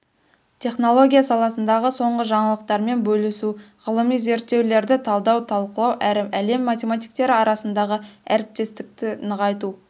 технология саласындағы соңғы жаңалықтармен бөлісу ғылыми зерттеулерді талдау талқылау әрі әлем математиктері арасындағы әріптестікті нығайту